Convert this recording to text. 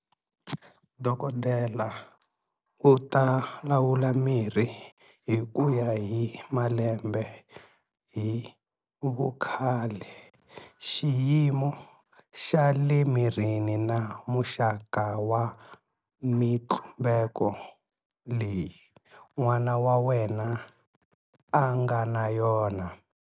Dokodela u ta lawula mirhi hi ku ya hi malembe hi vukhale, xiyimo xa le mirini na muxaka wa mitlumbeko leyi n'wana wa wena a nga na yona.